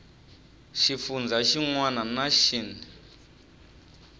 xifundzha xin wana na xin